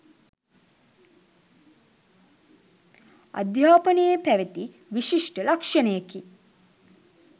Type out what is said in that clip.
අධ්‍යාපනයේ පැවැති විශිෂ්ට ලක්‍ෂණයකි.